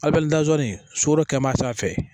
Ali dazin sogo kɛmɛ sanfɛ